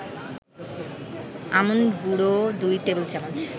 almond গুঁড়ো ২ টেবিল-চামচ